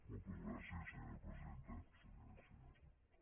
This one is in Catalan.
moltes gràcies senyora presidenta senyores i senyors diputats